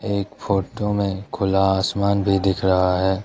एक फोटो में खुला आसमान भी दिख रहा है।